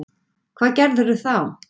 Hvað gerirðu þá?